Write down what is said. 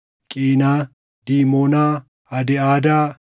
Qiinaa, Diimonaa, Adiʼaadaa,